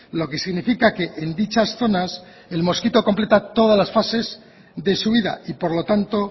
lo que significa que en dichas zonas el mosquito completa todas las fases de su vida y por lo tanto